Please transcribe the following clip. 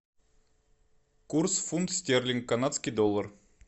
курс фунт стерлинг канадский доллар